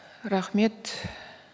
рахмет